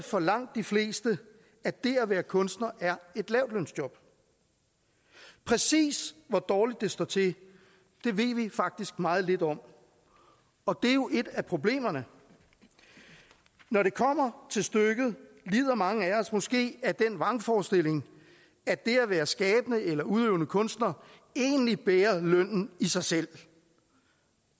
for langt de fleste at det at være kunstner er et lavtlønsjob præcis hvor dårligt det står til ved vi faktisk meget lidt om og det er jo et af problemerne når det kommer til stykket lider mange af os måske af den vrangforestilling at det at være skabende eller udøvende kunstner egentlig bærer lønnen i sig selv